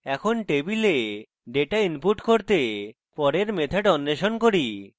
এখন টেবিলে data input করতে পরের method অন্বেষণ করি